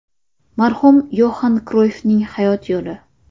Marhum Yoxan Kroyffning hayot yo‘li.